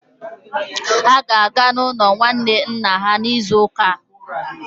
Ha ga-aga n'ụlọ nwanne nna ha n'izu ụka a.